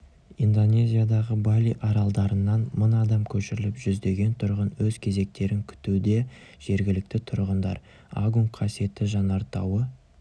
индонезиядағы бали аралдарынан мың адам көшіріліп жүздеген тұрғын өз кезектерін күтуде жергілікті тұрғындар агунг қасиетті жанартауы